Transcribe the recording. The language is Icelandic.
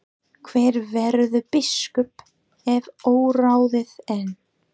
Hver verður biskup er óráðið enn.